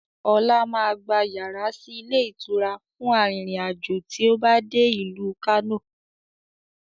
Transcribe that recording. Ọlá máa gba yàrá sì ilé ìtura fún arìnrìn-àjò tí ó bá dé ìlú Kano